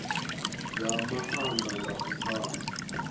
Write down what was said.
zwa maanḓa nga u pfana